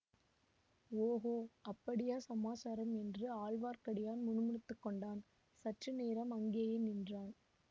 ஓகோ அப்படியா சமாசாரம் என்று ஆழ்வார்க்கடியான் முணுமுணுத்து கொண்டான் சற்று நேரம் அங்கேயே நின்றான்